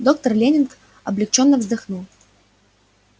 доктор лэннинг облегчённо вздохнул